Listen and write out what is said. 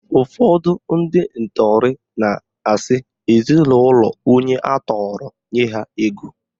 Ụfọdụ ndị ntọrị na-asị ezinaụlọ onye atọrọ nye ha ego